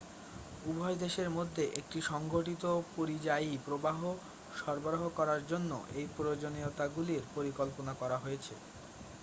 উভয় দেশের মধ্যে একটি সংঘটিত পরিযায়ী প্রবাহ সরবরাহ করার জন্য এই প্রয়োজনীয়তাগুলির পরিকল্পনা করা হয়েছে